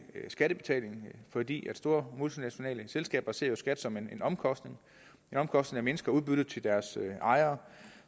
skattebetaling fordi store multinationale selskaber ser jo skat som en omkostning en omkostning der mindsker udbyttet til deres ejere